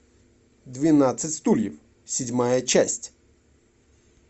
двенадцать стульев седьмая часть